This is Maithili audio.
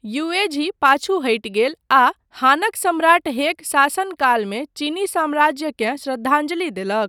युएझी पाछू हटि गेल आ हानक सम्राट हेक शासनकालमे चीनी साम्राज्यकेँ श्रद्धांजलि देलक।